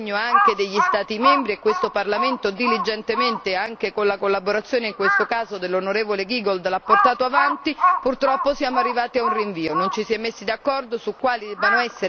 Si era iniziato un lavoro sull'impegno anche degli Stati membri e questo Parlamento diligentemente anche con la collaborazione in questo caso dell'onorevole Giegold l'ha portato avanti ma purtroppo siamo arrivati a un rinvio.